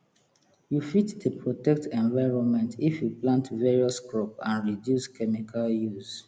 you fit dey protect environment if you plant various crop and reduce chemical use